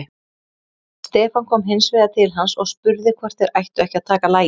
Stefán kom hins vegar til hans og spurði hvort þeir ættu ekki að taka lagið.